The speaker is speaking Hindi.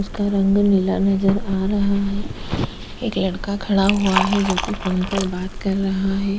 उसका रंग नीला नजर आ रहा है एक लड़का खड़ा हुआ है जो कि फोन पर बात कर रहा है।